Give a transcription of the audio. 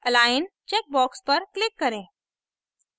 align checkbox पर click करें